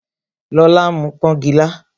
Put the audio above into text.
Lola ń mu pọngila